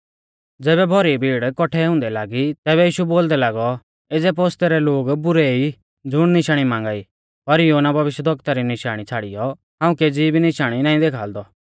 ज़ैबै भौरी भीड़ कौठै हुंदै लागी तैबै यीशु बोलदै लागौ एज़ै पोस्तै रै लोग बुरै ई ज़ुण निशाणी मांगा ई पर योना भविष्यवक्ता री निशाणी छ़ाड़ियौ हाऊं केज़ी भी निशाणी नाईं देखाल़दौ